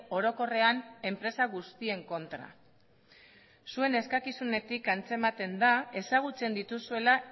orokorrean enpresa guztien kontra zuen eskakizunetik antzematen da ezagutzen dituzuela